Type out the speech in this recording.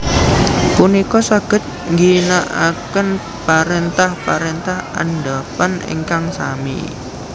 punika saged ngginakaken parentah parentah andhapan ingkang sami